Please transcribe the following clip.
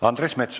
Andres Metsoja.